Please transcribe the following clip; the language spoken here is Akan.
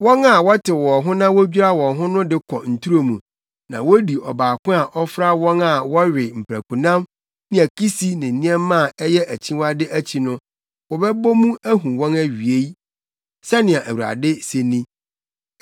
“Wɔn a wɔtew wɔn ho na wodwira wɔn ho de kɔ nturo mu, na wodi ɔbaako a ɔfra wɔn a wɔwe mprakonam ne akisi ne nneɛma a ɛyɛ akyiwade akyi no, wɔbɛbɔ mu ahu wɔn awiei,” sɛnea Awurade se ni.